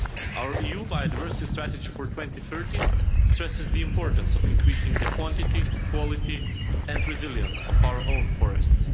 Our EU biodiversity strategy for 2030 stresses the importance of increasing the quantity, quality and resilience of our own forests.